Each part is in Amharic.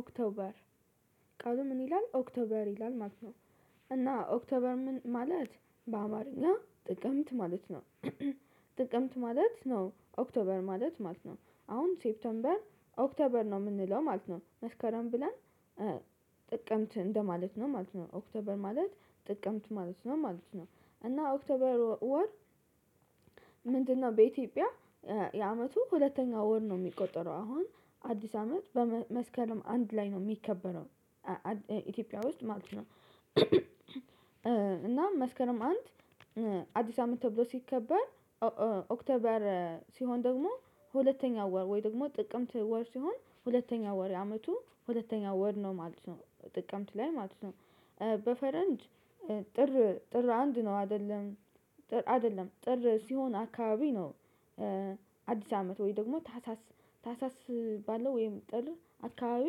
ኦክቶበር ቃሉ ምን ይላል ኦክቶበር ይላል ማለት ነው። እና ኦክቶበር ምን ማለት በአማረኛና ጥቅምት ማለት ነው። ጥቅምት ማለት ነው ኦክቶበር ማለት ነው አሁን ሴፕቴምበር ኦክቶበር ነው የምንለው ማለት ነው መስከረም ብለን ጥቅምት እንደማለት ነው ማለት ነው ኦክቶበር ማለት ጥቅምት ማለት ነው ማለት ነው እና ኦክቶበር ወር። ምንድነው? በኢትዮጵያ የአመቱ ሁለተኛው ወር ነው የሚቆጠረው አሁን አዲስ አመት መስከረም አንድ ላይ ነው የሚከበረው ኢትዮጵያ ውስጥ ማለት ነው። እና መስከረም አንድ አዲስ አመት ተብሎ ሲከበር ኦክቶበር ሲሆን ደግሞ ሁለተኛው ወር ወይ ደግሞ ጥቅምት ወር ሲሆን ሁለተኛው ወር የአመቱ ሁለተኛው ወር ነው ማለት ነው ጥቅምት ላይ ማለት ነው። በፈረንጅ ጥር ጥር አንድ ነው አይደለም አይደለም ጥር ሲሆን አካባቢ ነው። አዲስ አመት ወይ ደግሞ ታህሳስ ታህሳስ ባለው ወይም ጥር አካባቢ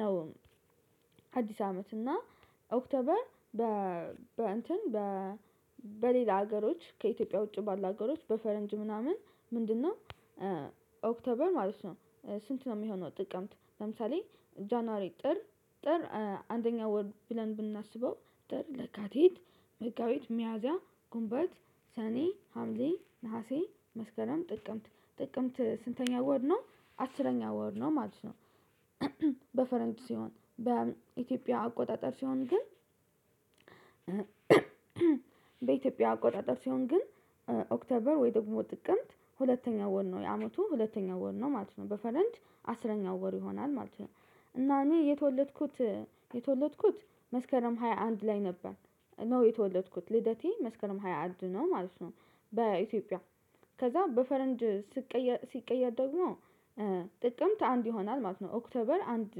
ነው። አዲስ አመት እና ኦክቶበር በ በ እንትን በ በሌላ ሀገሮች ከኢትዮጵያ ውጪ ባለ ሀገሮች በፈረንጅ ምናምን ምንድነው? ኦክተበር ማለት ነው። ስንት ነው የሚሆነው? ጥቅምት ለምሳሌ ጃንዋሪ ጥር ጥር አንደኛ ወር ብለን ብናስበው ጥር የካቲት መጋቢት ሚያዚያ ጉንቦት ሰኔ ሀምሌ ነሀሴ መስከረም ጥቅምት ጥቅምት ስንተኛ ወር ነው አስረኛ ወር ነው ማለት ነው። በፈረንጅ ሲሆን በኢትዮጵያ አቆጣጠር ሲሆን ግን በኢትዮጵያ አቆጣጠር ሲሆን ግን ኦክተበር ወይ ደግሞ ጥቅምት ሁለተኛው ወር ነው የአመቱ ሁለተኛው ወር ነው ማለት ነው። በፈረንጅ አስረኛው ወር ይሆናል ማለት ነው። እና እኔ የተወለድኩት የተወለድኩት መስከረም ሃያ አንድ ላይ ነበር ነው የተወለድኩት ልደቴ መስከረም ሃያ አንድ ነው ማለት ነው። በኢትዮጵያ ከዛ በፈረንድ ስቀየር ሲቀየር ደግሞ ጥቅምት አንድ ይሆናል ማለት ነው ኦክቶበር አንድ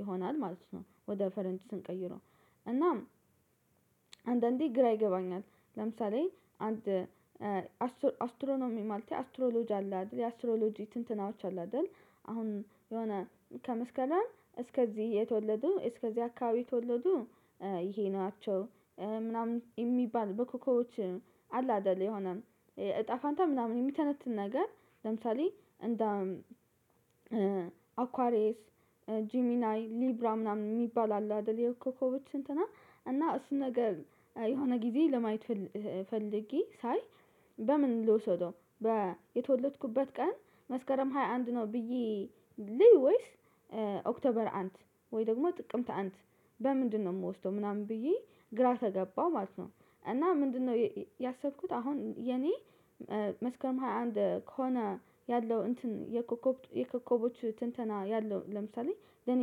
ይሆናል ማለት ነው። ወደ ፈረጅ ስንቀይረው እናም አንዳንዴ ግራ ይገባኛል። ለምሳሌ አንድ አስትሮኖሚ ማለት አስትሮሎጂ አለ አይደል የአስትሮሎጂ ትንትናዎች አሉ አይደል? አሁን የሆነ ከመስከረም እስከዚህ የተወለዱ እስከዚህ አካባቢ የተወለዱ ይሄ ናቸው ምናምን የሚባል በኮኮቦች አለ አይደለም የሆነ እጣ ፋንታ ምናምን የሚተነትን ነገር። ለምሳሌ እንደ አኳሬስ ጂሚናይ ሊብራ ምናምን የሚባል አለ አደል ኮኮቦች እንትና እና እሱን ነገር የሆነ ጊዜ ለማየት ፈልጌ ሳይ በምን ልውሰደው ነው የተወለድኩበት ቀን? መስከረም ሃያ አንድ ነው ብዬ ልይ ወይስ ኦክቶበር አንድ ወይ ደግሞ ጥቅምት አንድ በምንድነው የምወስደው ምናምን ብዬ ግራ ተገባው ማለት ነው። እና ምንድነው ያሰብኩት አሁን የኔ መስከረም ሃያ አንድ ከሆነ ያለው እንትን የኮከብ የኮከቦች ትንተና ያለው ለምሳሌ ለኔ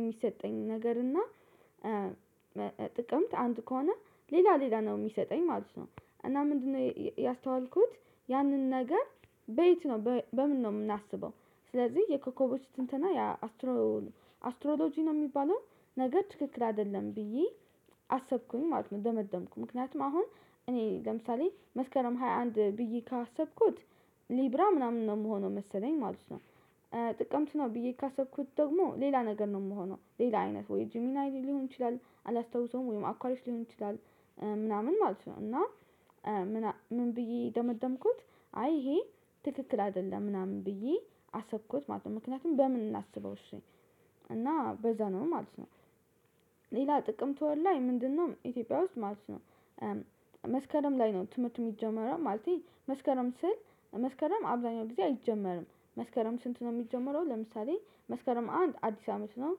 የሚሰጠኝ ነገር እና። ጥቅምት አንድ ከሆነ ሌላ ሌላ ነው የሚሰጠኝ ማለት ነው። እና ምንድነው ያስተዋልኩት? ያንን ነገር በይት ነው በምንድነው የምናስበው? ስለዚህ የኮኮቦች ትንተና ያ አስትሮሎጂ ነው የሚባለው። ነገር ትክክል አይደለም ብዬ አሰብኩኝ ማለት ነው። ደመደምኩ ምክንያቱም አሁን እኔ ለምሳሌ መስከረም ሃያ አንድ ብዬ ካሰብኩት ሊብራ ምናምን ነው የምሆነው መሰለኝ ማለት ነው። ጥቅምቱ ነው ብዬ ካሰብኩት ደግሞ ሌላ ነገር ነው የምሆነው ሌላ አይነት ወይ ጂሚናይ ሊሆን ይችላል አላስታውሰውም ወይም አኳሊሽ ሊሆን ይችላል። ምናምን ማለት ነው። እና ምን ብዬ ደመደምኩት? አይ ይሄ ትክክል አይደለም ምናምን ብዬ አሰብኩት ማለት ነው። ምክንያቱም በምን እናስበው እሺ እና በዛ ነው ማለት ነው። ሌላ ጥቅምት ወር ላይ ምንድነው? ኢትዮጵያ ውስጥ ማለት ነው። መስከረም ላይ ነው ትምህርት የሚጀመረው ማለቴ መስከረም ስል መስከረም አብዛኛው ጊዜ አይጀመርም። መስከረም ስንት ነው የሚጀመረው? ለምሳሌ መስከረም አንድ አዲስ አመት ነው።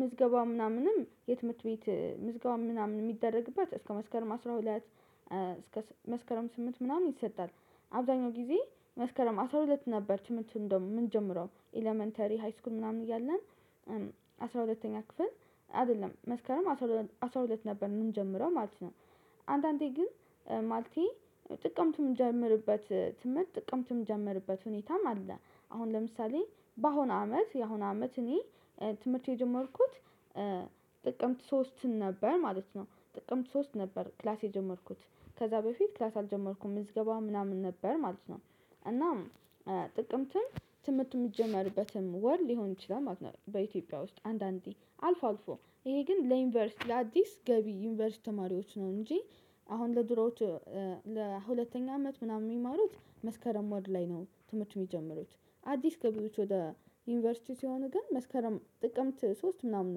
ምዝገባው ምናምንም የትምህርት ቤት ምዝገባው ምናምን የሚደረግባት እስከ መስከርም አስራ ሁለት እስከ መስከረም ስምንት ምናምን ይሰጣል። አብዛኛው ጊዜ መስከረም አስራ ሁለት ነበር ትምህርት እንደውም ምንጀምረው ኤለመንተሪ ሃይስኩል ምናምን እያለን። አስራ ሁለተኛ ክፍል አይደለም መስከረም አስራ ሁለት ነበር የምንጀምረው ማለት ነው። አንዳንዴ ግን ማልቴ ጥቅምት ምንጀምርበት ትምህርት ጥቅምት ጀመርበት ሁኔታም አለ። አሁን ለምሳሌ በአሁን አመት የአሁን አመት እኔ ትምህርት የጀመርኩት ጥቅምት ሶስት ነበር ማለት ነው። ጥቅምት ሶስት ነበር ክላስ የጀመርኩት ከዛ በፊት ክላስ አልጀመርኩም ምዝገባ ምናምን ነበር ማለት ነው። እና ጥቅምትም ትምህርት ሚጀመርበትም ወር ሊሆን ይችላል ማለት ነው። በኢትዮጵያ ውስጥ አንዳንዴ አልፎ አልፎ ይሄ ግን ለዩኒቨርሲቲ ለአዲስ ገቢ ዩኒቨርሲቲ ተማሪዎች ነው እንጂ። አሁን ለድሮዎች ለሁለተኛ አመት ምናምን የሚማሩት መስከረም ወር ላይ ነው ትምህርት ሚጀምሩት። አዲስ ገቢዎች ወደ ዩኒቨርሲቲ ሲሆን ግን መስከረም ጥቅምት ሶስት ምናምን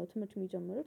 ነው ትምህርት የሚጀምረው